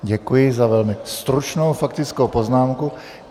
Děkuji za velmi stručnou faktickou poznámku.